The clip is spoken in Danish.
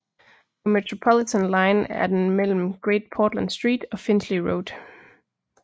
På Metropolitan line er den mellem Great Portland Street og Finchley Road